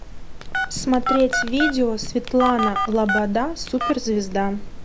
смотреть видео светлана лобода суперзвезда